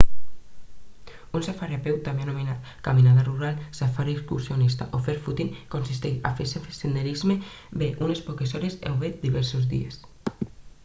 un safari a peu també anomenat caminada rural safari excursionista o fer footing consisteix a fer senderisme bé unes poques hores o bé diversos dies